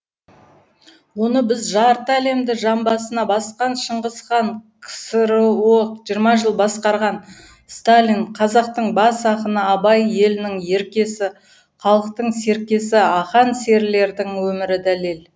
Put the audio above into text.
оны біз жарты әлемді жамбасына басқан шыңғыс хан ксро жиырма жыл басқарған сталин қазақтың бас ақыны абай елінің еркесі халықтың серкесі ақан серілердің өмірі дәлел